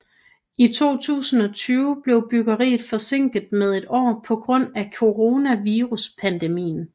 I 2020 blev byggeriet forsinket med et år på grund af coronaviruspandemien